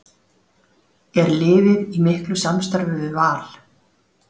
Er liðið í miklu samstarfi við Val?